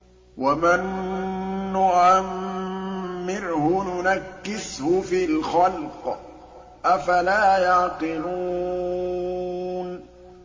وَمَن نُّعَمِّرْهُ نُنَكِّسْهُ فِي الْخَلْقِ ۖ أَفَلَا يَعْقِلُونَ